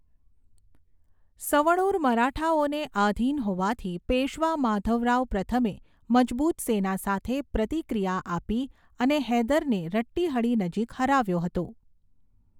સવણુર મરાઠાઓને આધીન હોવાથી, પેશ્વા માધવરાવ પ્રથમે મજબૂત સેના સાથે પ્રતિક્રિયા આપી અને હૈદરને રટ્ટીહળિ નજીક હરાવ્યો હતો.